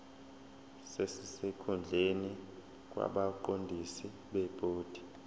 sesikhundleni kwabaqondisi bebhodi